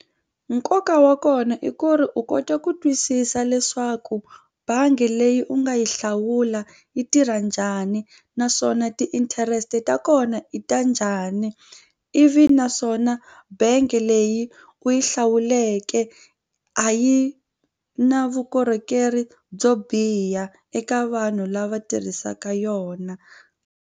Nkoka wa kona i ku ri u kota ku twisisa leswaku bangi leyi u nga yi hlawula yi tirha njhani naswona ti-interest ta kona i ta njhani ivi naswona bank leyi u yi hlawuleke a yi na vukorhokeri byo biha eka vanhu lava tirhisaka yona.